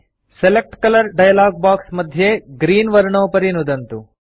select colour dialog box मध्ये green वर्णोपरि नुदन्तु